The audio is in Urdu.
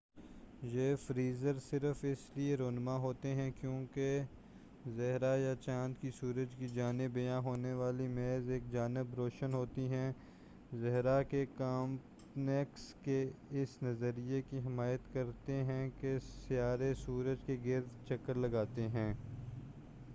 یہ فیزز صرف اس لیے رونما ہوتے ہیں کیونکہ زھرہ یا چاند کی سورج کی جانب عیاں ہونے والی محض ایک جانب روشن ہوتی ہے۔ زھرہ کے کاپرنیکس کے اس نظریے کی حمایت کرتے ہیں کہ سیارے سورج کے گرد چکر لگاتے ہیں۔